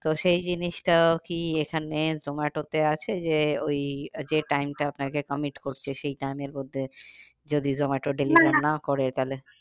তো সেই জিনিসটা কি এখানে জোমাটোতে আছে যে ওই যে time টা আপনাকে commit করছে সেই time এর মধ্যে যদি জোমাটো না করে তাহলে